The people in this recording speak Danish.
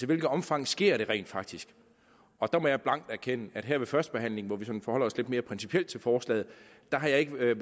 hvilket omfang sker det rent faktisk der må jeg blankt erkende at her ved førstebehandlingen hvor vi sådan forholder os lidt mere principielt til forslaget har jeg ikke været